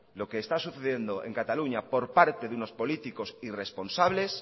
lo que está sucediendo en cataluña por parte de unos político irresponsables